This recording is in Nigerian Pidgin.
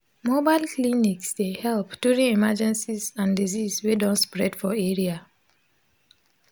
mobile clinics dey help during emergencies and disease wey don spread for area